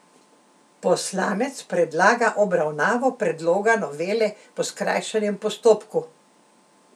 Poslanec predlaga obravnavo predloga novele po skrajšanem postopku.